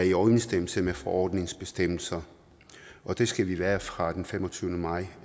i overensstemmelse med forordningens bestemmelser og det skal den være fra den femogtyvende maj